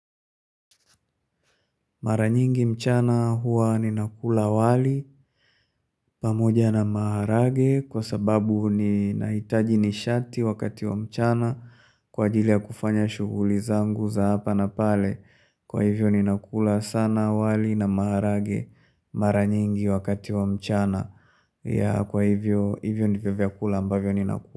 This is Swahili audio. Mara nyingi mchana huwa ninakula wali, pamoja na maharage, kwa sababu ninahitaji nishati wakati wa mchana, kwa ajili ya kufanya shughuli zangu za hapa na pale, kwa hivyo ninakula sana wali na maharage, mara nyingi wakati wa mchana, ya kwa hivyo ndivyo vyakula ambavyo ninakula.